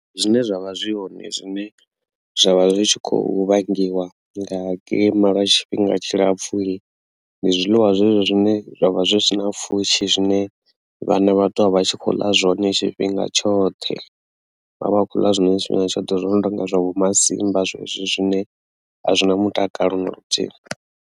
Zwine zwa vha zwi hoṋe zwine zwavha zwi tshi khou vhangiwa nga kilima lwa tshifhinga tshilapfhu ndi zwiḽiwa zwezwo zwine zwavha zwi si na pfhushi zwine vhana vha ṱuwa vha tshi khou ḽa zwone tshifhinga tshoṱhe vha vha khou ḽa zwiḽiwa zwine a zwi tsha ḓivha zwo no tonga vho masimba zwezwo zwine a zwi na mutakalo na luthihi.